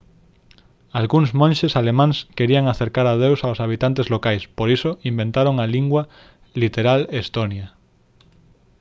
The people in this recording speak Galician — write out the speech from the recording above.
algúns monxes alemáns querían acercar a deus aos habitantes locais por iso inventaron a lingua literal estonia